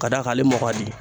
Ka d'a kan ale mɔ ka di